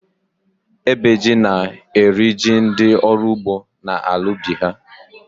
Ébè jí na-eri jí ndị ọrụ ugbo n’ala ubi ha